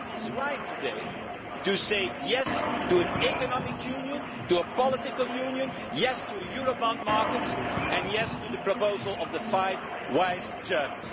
The time is right today to say yes to an economic union, to a political union, yes to a Eurobond market and yes to the proposal of the five wise Germans.